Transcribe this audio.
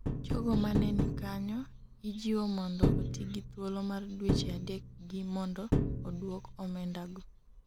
jogo mane nikanyo ijiwo mondo oti gi thuolo mar dweche adek gi mondo odwok omenda go